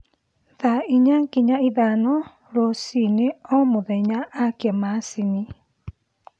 thaa ĩnya nginya ithano rũcĩĩnĩ o mũthenya akĩa machĩnĩ